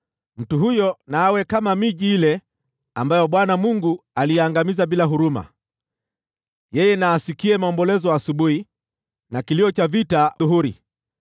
Mtu huyo na awe kama miji ile ambayo Bwana Mungu aliiangamiza bila huruma. Yeye na asikie maombolezo asubuhi na kilio cha vita adhuhuri.